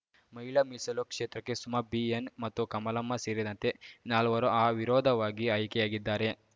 ಮಹಿಳಾ ಮೀಸಲು ಕ್ಷೇತ್ರಕ್ಕೆ ಸುಮ ಬಿಎನ್‌ ಮತ್ತು ಕಮಲಮ್ಮ ಸೇರಿದಂತೆ ನಾಲ್ವರು ಅವಿರೋಧವಾಗಿ ಆಯ್ಕೆಯಾಗಿದ್ದಾರೆ